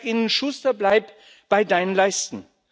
Ich sage ihnen Schuster, bleib bei deinen Leisten!